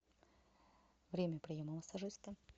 время приема массажиста